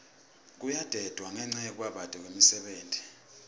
kuyadendwa ngenca yekubabete kwemisebenti